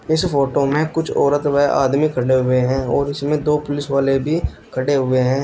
इस फोटो में कुछ औरत वेह आदमी खड़े हुए हैं और इसमें दो पुलिस वाले भी खड़े हुए हैं।